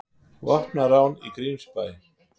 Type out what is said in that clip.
Vopnað rán í Grímsbæ